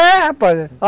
É, rapaz.